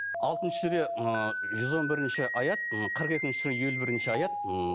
алтыншы сүре ы жүз он бірінші аят ы қырық екінші сүре елу бірінші аят ммм